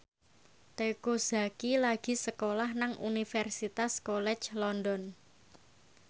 Teuku Zacky lagi sekolah nang Universitas College London